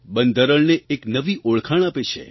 બંધારણને એક નવી ઓળખાણ આપે છે